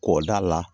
K'o d'a la